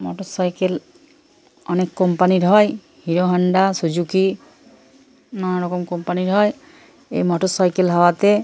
Motorcycle অনেক company র হয় হিরো হোন্ডা সুজুকি নানা রকম কোম্পানি র হয়। এই মোটরসাইকেল হওয়াতে--